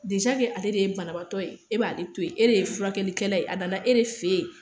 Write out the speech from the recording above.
ke ale de ye banabatɔ ye, e b'a to yen e de ye furakɛlikɛla ye a nana e de fe yen.